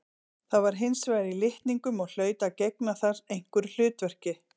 Það var hins vegar í litningum og hlaut að gegna þar einhverju hlutverki.